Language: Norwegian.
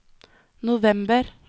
november